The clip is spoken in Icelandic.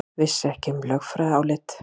Vissi ekki um lögfræðiálit